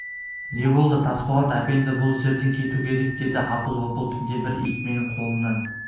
не болды тасболат әпенді бұл жерден кету керек деді апыл-ғұпыл түнде бір ит менің қолымнан